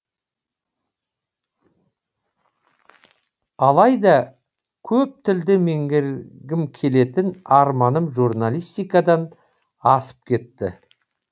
алайда көп тілді меңгергім келетін арманым журналистикадан асып кетті